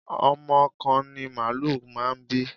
Ọmọ kan ni màálù máa ń bí.